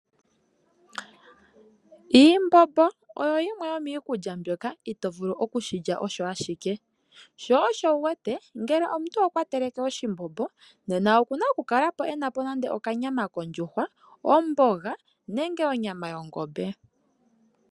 Iimbombo oyo yimwe yomiikulya mbyoka ito vulu oku shi lya osho ashike. Sho osho wu wete ngele omuntu okwa teleke oshimbombo nena oku na okukala e na po nenge okanyama kondjuhwa, omboga nenge onyama yongombe.